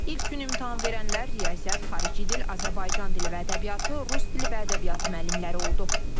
İlk gün imtahan verənlər riyaziyyat, xarici dil, Azərbaycan dili və ədəbiyyatı, rus dili və ədəbiyyatı müəllimləri oldu.